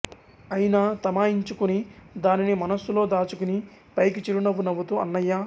అయినా తమాయించుకుని దానిని మనసులో దాచుకుని పైకి చిరునవ్వు నవ్వుతూ అన్నయ్యా